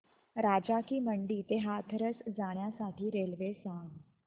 राजा की मंडी ते हाथरस जाण्यासाठी रेल्वे सांग